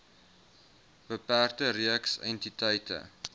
beperkte reeks entiteite